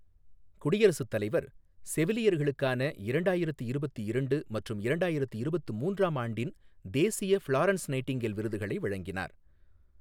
குடியரசுத் தலைவர், செவிலியர்களுக்கான இரண்டாயிரத்து இருபத்து இரண்டு மற்றும் இரண்டாயிரத்து இருபத்து மூன்றாம் ஆண்டின் தேசிய ஃபிளாரன்ஸ் நைட்டிங்கேல் விருதுகளை வழங்கினார்